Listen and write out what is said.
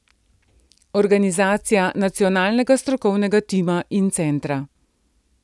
Organizacija nacionalnega strokovnega tima in centra.